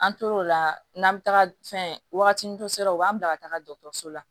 An tor'o la n'an bɛ taga fɛn waagati la u b'an bila ka taga dɔkɔtɔrɔso la